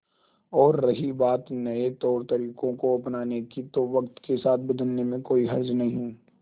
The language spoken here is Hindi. और रही बात नए तौरतरीकों को अपनाने की तो वक्त के साथ बदलने में कोई हर्ज नहीं